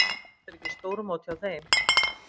Samt er ekki stórmót hjá þeim.